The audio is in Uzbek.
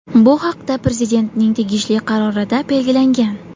Bu haqda Prezidentning tegishli qarorida belgilangan.